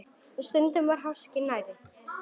Og stundum var háskinn nærri.